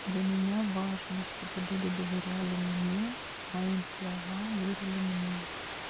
для меня важно чтобы люди доверяли мне моим словам верили мне